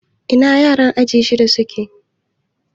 Ina yaran aji shiɗa suke?